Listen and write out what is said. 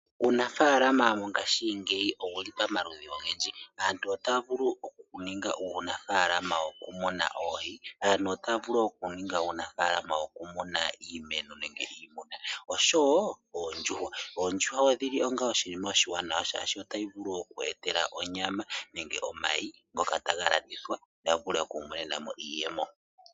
Uunafalama mongashingeyi owu li pamaludhi ogendji. Aantu otaya vulu okuninga uunafalama wokumuna oohi, aantu otaya vulu okuninga uunafalama wokumuna iimeno nenge iimuna, osho wo oondjuhwa. Oondjuhwa odhi li onga oshinima oshiwanawa, shaashi otayi vulu oku ku etela onyama nenge omayi ngoka taga landithwa ya vule oku imonena mo iiyemo.